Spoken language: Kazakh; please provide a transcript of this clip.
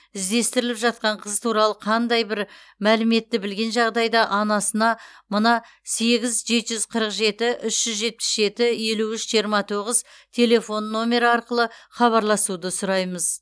іздестіріліп жатқан қыз туралы қандайда бір мәліметті білген жағдайда анасына мына сегіз жеті жүз қырық жеті үш жүз жетпіс жеті елу үш жиырма тоғыз телефон нөмері арқылы хабарласуды сұраймыз